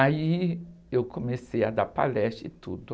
Aí eu comecei a dar palestras e tudo.